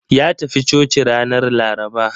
Ya tafi coci ranar Laraba.